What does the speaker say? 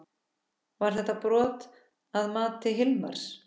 Var þetta brot að mati Hilmars?